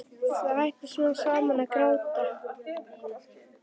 Það hætti smám saman að gráta.